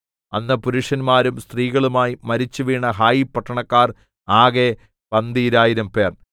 അന്ന് പുരുഷന്മാരും സ്ത്രീകളുമായി മരിച്ചുവീണ ഹായി പട്ടണക്കാർ ആകെ പന്തീരായിരം പേർ